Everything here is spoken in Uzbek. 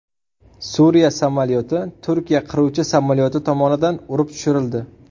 Suriya samolyoti Turkiya qiruvchi samolyoti tomonidan urib tushirildi.